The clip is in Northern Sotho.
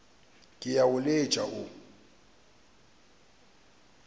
ke a o letša wo